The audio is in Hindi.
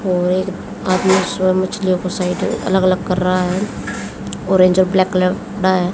और एक आदमी स्वयं मछलियों को साइड अलग-अलग कर रहा है। ऑरेंज और ब्लैक कलर का है।